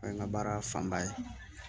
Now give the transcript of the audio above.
O ye n ka baara fanba ye